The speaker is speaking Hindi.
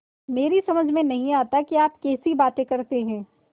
मेरी समझ में नहीं आता कि आप कैसी बातें करते हैं